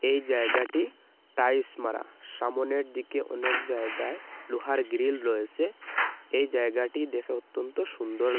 এই জায়গাটি টাইস মারা সামোনের দিকে অনেক জায়গায় লোহার গ্রিল রয়েসে এই জায়গাটি দেখে অত্যন্ত সুন্দর--